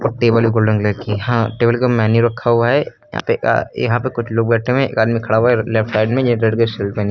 और टेबल है golden colour की। हां टेबल का मेन्यू रखा हुआ है। यहां पे आ यहां पे कुछ लोग बैठे हुए हैं। एक आदमी खड़ा हुआ है। लेफ्ट साइड में --